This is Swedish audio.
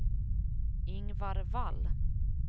Ingvar Wall